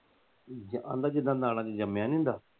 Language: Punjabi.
ਆਂਦਾ ਜੀਦਾ ਨਾੜਾ ਚ ਜੰਮਿਆ ਨਹੀਂ ਹੁੰਦਾ।